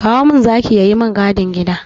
Kowa min zaki ya yi min gadin gida na!